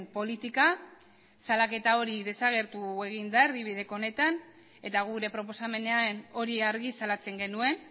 politika salaketa hori desagertu egin da erdibideko honetan eta gure proposamenean hori argi salatzen genuen